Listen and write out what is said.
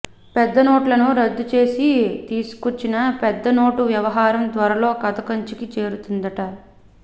పెద్ద నోట్లను రద్దు చేసి తీసుకొచ్చిన పెద్ద నోటు వ్యవహారం త్వరలో కథ కంచికి చేరుతుందట